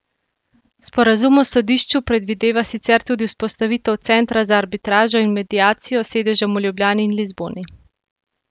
Sporazum o sodišču predvideva sicer tudi vzpostavitev centra za arbitražo in mediacijo s sedežem v Ljubljani in Lizboni.